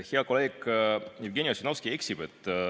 Hea kolleeg Jevgeni Ossinovski eksib.